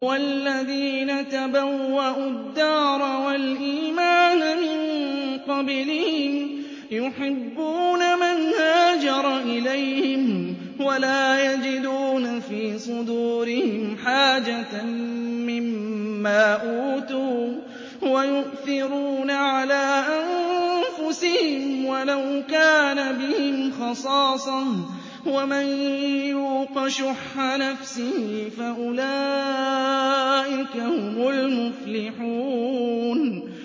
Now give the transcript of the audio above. وَالَّذِينَ تَبَوَّءُوا الدَّارَ وَالْإِيمَانَ مِن قَبْلِهِمْ يُحِبُّونَ مَنْ هَاجَرَ إِلَيْهِمْ وَلَا يَجِدُونَ فِي صُدُورِهِمْ حَاجَةً مِّمَّا أُوتُوا وَيُؤْثِرُونَ عَلَىٰ أَنفُسِهِمْ وَلَوْ كَانَ بِهِمْ خَصَاصَةٌ ۚ وَمَن يُوقَ شُحَّ نَفْسِهِ فَأُولَٰئِكَ هُمُ الْمُفْلِحُونَ